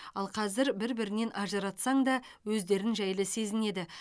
ал қазір бір бірінен ажыратсаң да өздерін жайлы сезінеді